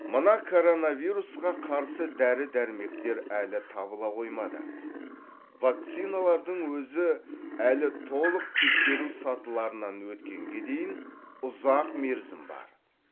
мына коронавирусқа қарсы дәрі дәрмектер әлі табыла қоймады вакциналардың өзі әлі толық тексеру сатыларынан өткенге дейін ұзақ мерзім бар